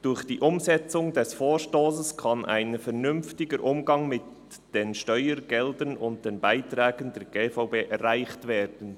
«Durch die Umsetzung dieses Vorstosses kann ein vernünftiger Umgang mit den Steuergeldern und den Beiträgen der GVB erreicht werden.